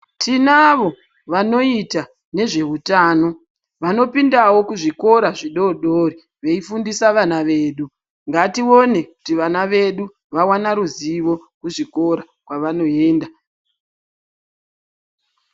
Tinavo vanoita nezvehutano vanopindawo kuzvikora zvidodori veifundisa vana vedu. Ngatione kuti vana vedu vawana ruzivo kuzvikora kwavanoenda.